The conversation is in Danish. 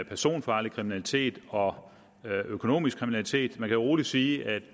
personfarlig kriminalitet og økonomisk kriminalitet man kan roligt sige at